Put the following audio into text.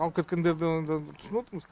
алып кеткендерді онда түсініп отырмыз